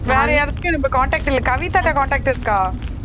வேற யாராச்சும் எனக்கு contact இல்ல கவிதாட்ட contact இருக்கா